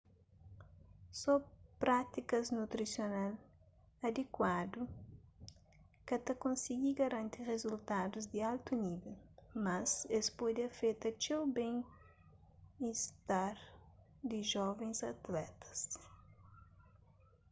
só prátikas nutrisional adikuadu ka ta konsigi garanti rizultadus di altu nível mas es pode afeta txeu ben-istar di jovens atletas